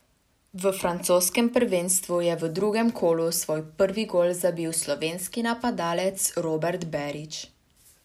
V francoskem prvenstvu je v drugem kolu svoj prvi gol zabil slovenski napadalec Robert Berić.